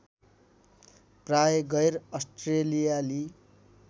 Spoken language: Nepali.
प्राय गैर अस्ट्रेलियाली